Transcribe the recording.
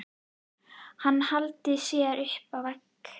Hann hallar sér upp að vegg.